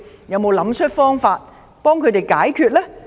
有沒有想辦法為他們解決問題？